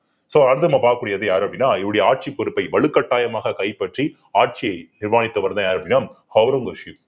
so அடுத்து நம்ம பார்க்கக்கூடியது யாரு அப்படின்னா இவருடைய ஆட்சிப் பொறுப்பை வலுக்கட்டாயமாக கைப்பற்றி ஆட்சியை நிர்வாணித்தவர்தான் யாரு அப்பிடின்னா ஒளரங்கசீப்